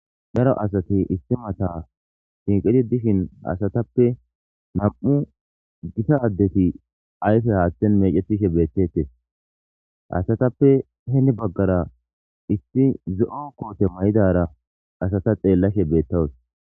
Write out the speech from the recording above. Daro asati issi mata shiiqidi dishin asatappe nam'u gita addeti ayfe haaththen meecetishe beetetees. Ha asatappe heni baggara issi zo'o koote mayidara asata xeellashe beetawus.